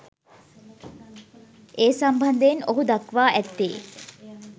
ඒ සම්බන්ධයෙන් ඔහු දක්වා ඇත්තේ